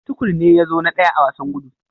Tukur ne ya zo na daya a wasan gudu.